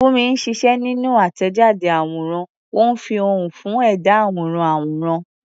Funmi ń ṣiṣẹ́ nínú àtẹ̀jáde àwòrán, ó ń fi ohùn fún ẹ̀dá àwòrán àwòrán.